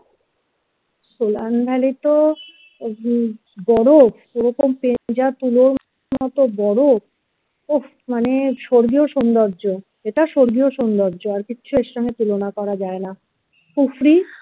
সেই বরফ এরকম ভেজা তুলোর মতো বরফ ওফ মানে স্বর্গীয় সুন্দর্য এটা স্বর্গীয় সুন্দর্য আর কিচ্ছু এর সঙ্গে তুলনা করা যায় না kufri